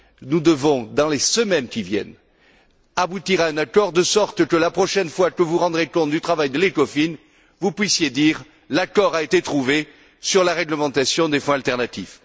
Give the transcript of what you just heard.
Nous devons, dans les semaines qui viennent, aboutir à un accord de sorte que, la prochaine fois que vous rendrez compte du travail de l'Ecofin, vous puissiez dire l'accord a été trouvé sur la réglementation des fonds alternatifs.